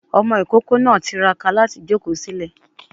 Ọmọ ìkókó náà tiraka láti jòkó sílẹ̀